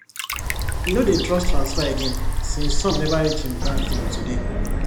e no dey trust transfer again since some never reach him bank till today